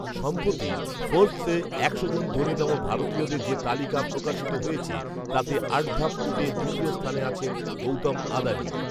সম্প্রতি ফর্বসে একশো জন ধনীতম ভারতীয়দের যে তালিকা প্রকাশিত হয়েছে, তাতে আট ধাপ উঠে দ্বিতীয় স্থানে আছেন গৌতম আদানি